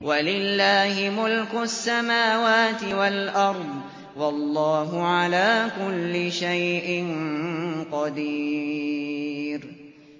وَلِلَّهِ مُلْكُ السَّمَاوَاتِ وَالْأَرْضِ ۗ وَاللَّهُ عَلَىٰ كُلِّ شَيْءٍ قَدِيرٌ